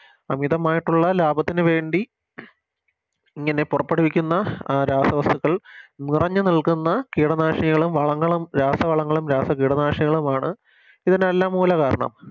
അമിതമായിട്ടുള്ള ലാഭത്തിനു വേണ്ടി ഇങ്ങനെ പൊറപ്പെടുവിക്കുന്ന അഹ് രാസവസ്തുക്കൾ നിറഞ്ഞു നിൽക്കുന്ന കീടനാശിനികളും വളങ്ങളും രാസ കീടനാശിനികളുമാണ് ഇതിനെല്ലാം മൂല കാരണം